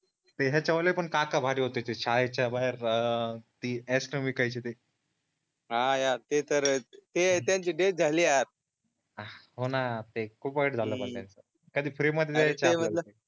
ते ह्याच्यावले पण काका भारी होते ते शाळेच्या बाहेर अं ते आईस्क्रीम विकायचे ते हा यार ते तर, ते त्यांची डेथ झाली यार आह होणं ते खूपच वाईट झालं यार कधी